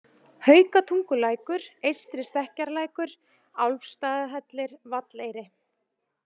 Haukatungulækur, Eystri-Stekkjarlækur, Álfsstaðahellir, Valleyri